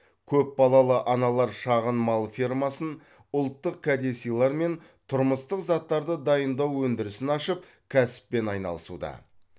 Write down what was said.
көп балалы аналар шағын мал фермасын ұлттық кәдесыйлар мен тұрмыстық заттарды дайындау өндірісін ашып кәсіппен айналысуда